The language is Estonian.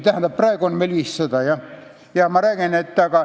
Vabandust, praegu on meil 500.